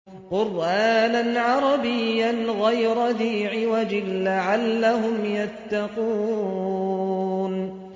قُرْآنًا عَرَبِيًّا غَيْرَ ذِي عِوَجٍ لَّعَلَّهُمْ يَتَّقُونَ